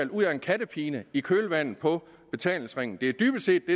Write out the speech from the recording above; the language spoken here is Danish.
ud af en kattepine i kølvandet på betalingsringen det er dybest set det